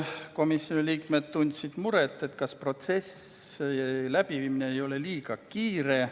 Komisjoni liikmed tundsid muret, ega protsessi läbiviimine ei ole liiga kiire.